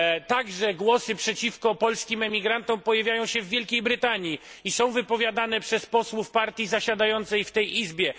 Także głosy przeciwko polskim emigrantom pojawiają się w Wielkiej Brytanii i są wypowiadane przez posłów partii zasiadającej w tej Izbie.